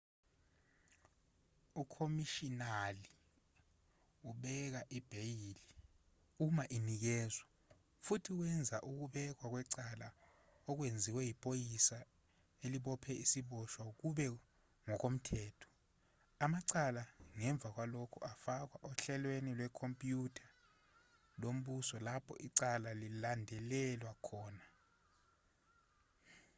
ukhomishinali ubeka ibheyili uma inikezwa futhi wenza ukubekwa kwecala okwenziwe yiphoyisa elibophe isiboshwa kube ngokomthetho amacala ngemva kwalokho afakwa ohlelweni lwekhompyutha lombuso lapho icala lilandelelwa khona